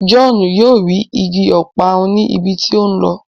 John yóò rí ìgi Ọparun ní ibí tí o nlọ.